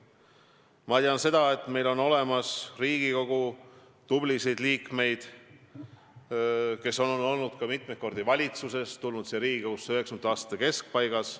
Ma tean, et on tublisid Riigikogu liikmeid, kes on olnud ka mitu korda valitsuses, tulnud Riigikogusse 1990. aastate keskpaigas.